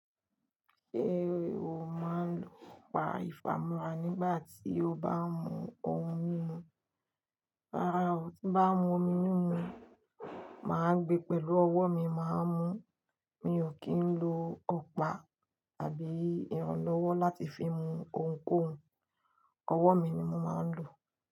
Ṣé o máa ń lo ọ̀pá ìfámúrà nígbà tí o bá ń mu ohun mímu? Rárá, tí bá ń mu omi mímu, màá gbé pẹ̀lú ọwọ́ mi, màá mú. Mi ò kí ń lo ọ̀pá àbí irànlọ́wọ́ láti fi mu ohunkóhun. Ọwọ́ mi ni mo máa ń lò.